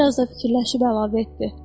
Bir az da fikirləşib əlavə etdi.